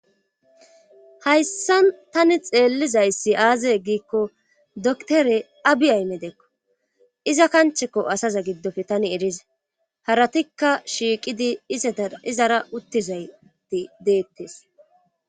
hayssa tani xeellizayssi aaze giikko doktore abi aymedeekko iza kanchekko asaza giddofe tani eriza haratikka shiiqidi izara uttizayti deettes